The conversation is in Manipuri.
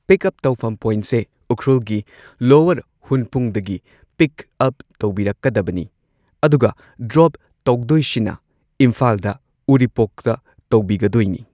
ꯄꯤꯛ ꯑꯞ ꯇꯧꯐꯝ ꯄꯣꯢꯟꯠꯁꯦ ꯎꯈ꯭ꯔꯨꯜꯒꯤ ꯂꯣꯋꯔ ꯍꯨꯟꯄꯨꯡꯗꯒꯤ ꯄꯤꯛ ꯑꯞ ꯇꯧꯕꯤꯔꯛꯀꯗꯕꯅꯤ ꯑꯗꯨꯒ ꯗ꯭ꯔꯣꯞ ꯇꯧꯕꯤꯗꯣꯏꯁꯤꯅ ꯏꯝꯐꯥꯜꯗ ꯎꯔꯤꯄꯣꯛꯇ ꯇꯧꯗꯣꯢꯁꯤꯅ꯫